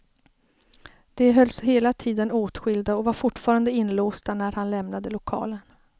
De hölls hela tiden åtskilda och var fortfarande inlåsta när han lämnade lokalen.